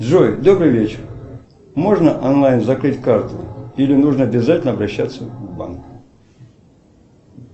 джой добрый вечер можно онлайн закрыть карту или нужно обязательно обращаться в банк